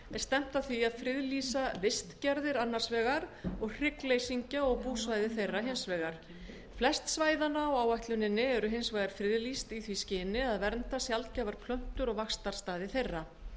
stefnt að því að friðlýsa vistgerðir annars vegar og hryggleysingja og búsvæði þeirra hins vegar flest svæðanna á áætluninni eru hins vegar friðlýst í því skyni að vernda sjaldgæfar plöntur og vaxtarstaði þeirra